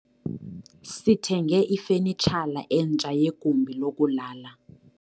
Sithenge ifanitshala entsha yegumbi lokulala.